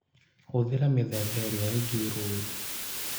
Hũthĩra mĩthemba ĩrĩa ĩngĩ rũũru